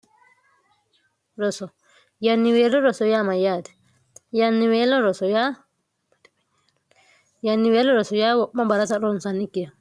rynniweo roso yaa amayyaati yanniweello roso yaa wo'ma ba'rata ronsannikkiha